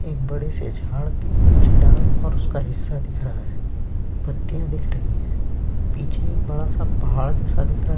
एक बड़े झाड़ के कुछ डाल और उसका हिस्सा दिख रहा है पत्तिया दिख रही है पीछे बड़ा-सा पहाड़ जैसा दिख रहा है।